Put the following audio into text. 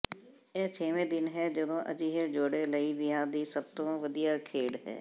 ਇਹ ਛੇਵੇਂ ਦਿਨ ਹੈ ਜਦੋਂ ਅਜਿਹੇ ਜੋੜੇ ਲਈ ਵਿਆਹ ਦੀ ਸਭ ਤੋਂ ਵਧੀਆ ਖੇਡ ਹੈ